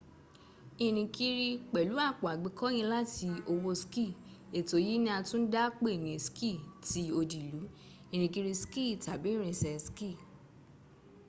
irinkiri pelu apo agbekoyin lati owo ski eto yi ni a tun da pe ni ski ti odi ilu irinkiri ski tabi irinse ski